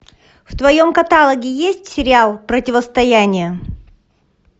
в твоем каталоге есть сериал противостояние